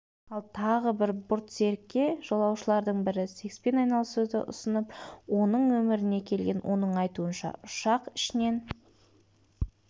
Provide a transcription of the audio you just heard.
ал тағы бір бортсерікке жолаушылардың бірі секспен айналысуды ұсынып оның нөміріне келген оның айтуынша ұшақ ішінен